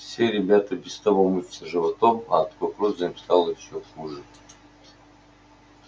все ребята и без того мучаются животом а от кукурузы им стало ещё хуже